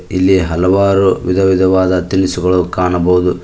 ಇಲ್ಲಿ ಹಲವಾರು ವಿಧವಿಧವಾದ ತಿನಿಸುಗಳು ಕಾಣಬಹುದು.